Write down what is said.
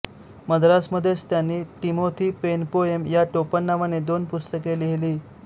मद्रासमधेच त्यांनी Timothy Penpoem या टोपण नावाने दोन पुस्तके लिहिली